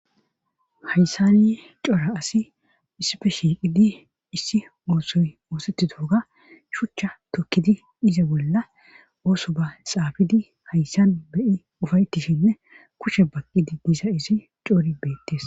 hayssani cora asi issife shiiqidi issi oosoy oosetti doga shuchcha tokkidi iza bolla ooso ba xaabidi hayssan beyi ufaytishinne kushe baqqidi gisa isi coori beettes